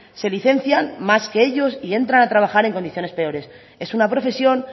se licencian más que ellos y entran a trabajar en condiciones peores es una profesión